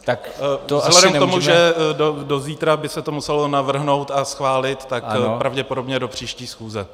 Vzhledem k tomu, že do zítra by se to muselo navrhnout a schválit, tak pravděpodobně do příští schůze.